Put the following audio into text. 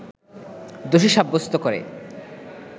দোষী সাব্যস্ত করে